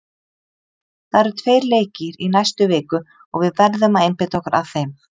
Það eru tveir leikir í næstu viku og við verðum að einbeita okkur að þeim.